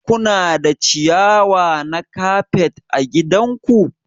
Kuna da ciyawa na kafet ã gidan ku?